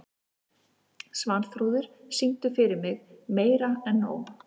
Svanþrúður, syngdu fyrir mig „Meira En Nóg“.